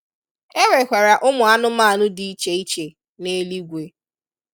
E nwekwara ụmụ anụmanụ dị iche iche neluigwe.